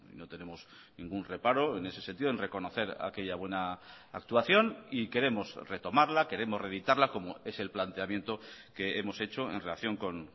no tenemos ningún reparo en ese sentido en reconocer aquella buena actuación y queremos retomarla queremos reeditarla como es el planteamiento que hemos hecho en relación con